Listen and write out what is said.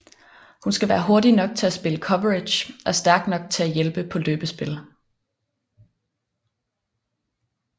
Han skal være hurtig nok til at spille coverage og stærk nok til at hjælpe på løbespil